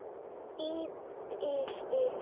Í bili.